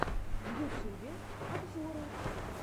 в ютюбе обзоры